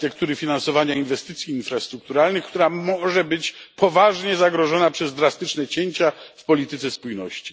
architektury finansowania inwestycji infrastrukturalnych, która może być poważnie zagrożona przez drastyczne cięcia w polityce spójności.